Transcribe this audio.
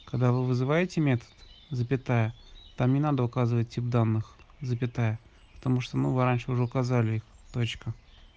когда вы вызываете метод запятая там не надо указывать тип данных запятая потому что мы в раньше уже указали их точка